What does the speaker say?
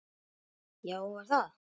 Já, var það?